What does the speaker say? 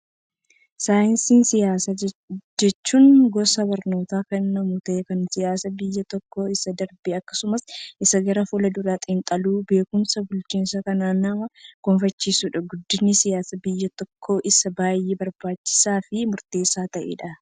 Saayinsii siyaasaa jechuun, gosa barnootaa kennamu ta'ee, kan siyaasa biyya tokkoo, isa darbe, akkasumas isa gara fulduraa xinxaluuf beekumsa bulchiinsaa kan nama gonfachiisudha. Guddinni siyaasaa biyya tokkoof isa baayyee barbaachisaa fi murteessaa ta'edha.